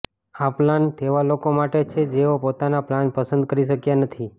આ પ્લાન તેવા લોકો માટે છે જેઓ પોતાનો પ્લાન પસંદ કરી શક્યા નથી